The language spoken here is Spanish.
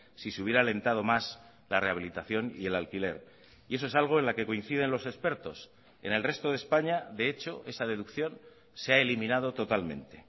si se hubiera alentado más la rehabilitación y el alquiler y eso es algo en la que coinciden los expertos en el resto de españa de hecho esa deducción se ha eliminado totalmente